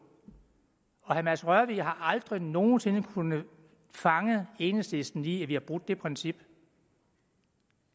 herre mads rørvig har aldrig nogen sinde kunnet fange enhedslisten i at vi har brudt det princip